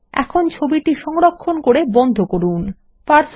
এখন ছবিটি সংরক্ষণ করে বন্ধ করা যাক